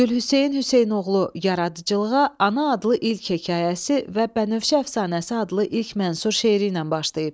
Gülhüseyn Hüseynoğlu yaradıcılığa Ana adlı ilk hekayəsi və Bənövşə əfsanəsi adlı ilk mənsub şeiri ilə başlayıb.